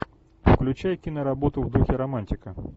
включай киноработу в духе романтика